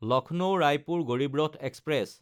লক্ষ্ণৌ–ৰায়পুৰ Garib Rath express